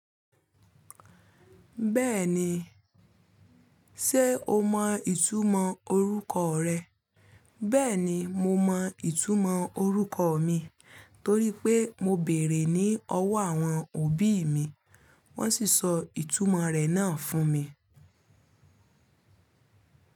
Bẹ́ẹ̀ni, ṣe o mọ ìtumọ̀ orúkọ rẹ? Bẹ́ẹ̀ni, mo mọ ìtumọ̀ orúkọ mi torí pé mo bèèrè ní ọwọ́ àwọn òbí mi, wón sì sọ ìtumọ̀ rẹ̀ náà fún mi.